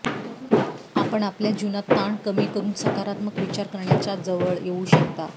आपण आपल्या जीवनात ताण कमी करून सकारात्मक विचार करण्याच्या जवळ येऊ शकता